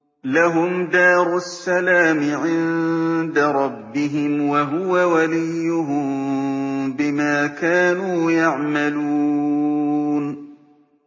۞ لَهُمْ دَارُ السَّلَامِ عِندَ رَبِّهِمْ ۖ وَهُوَ وَلِيُّهُم بِمَا كَانُوا يَعْمَلُونَ